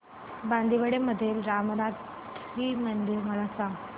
बांदिवडे मधील रामनाथी मंदिर मला सांग